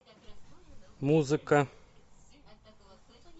музыка